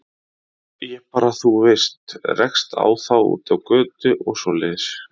Ég bara, þú veist, rekst á þá úti á götu og svoleiðis.